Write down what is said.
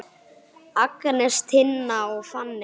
Agnes, Tinna og Fanney.